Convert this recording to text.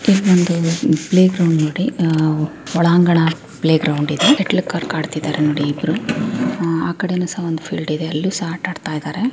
ಇದು ಒಂದು playground ಇದೆ ಅ-ಅ-ಒಳಾಂಗಣ ಪ್ಲೇ ಗ್ರೌಂಡ್ ಇದೆ ಆ-ಆ-ಒಂದು ಶೆಟ್ಟಲ್ ಕಾಕ್ ಆಡ್ತಾ ಇದಾರೆ ಅಂಡೆ ಇಬ್ರೂ ಆಕಡೇನು ಸಹ ಒಂದು ಪೀರ್ಲ್ಡ್ ಇದೆ.ಅಲ್ಲಿಯೂ ಸಹ ಆಟ ಆಡತಾಯಿದಾರೆ .